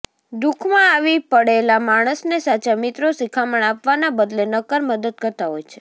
દુઃખમાં આવી પડેલા માણસને સાચા મિત્રો શિખામણ આપવાના બદલે નક્કર મદદ કરતા હોય છે